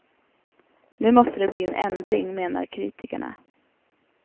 Nu måste det bli en ändring, menar kritikerna.